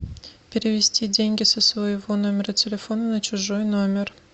перевести деньги со своего номера телефона на чужой номер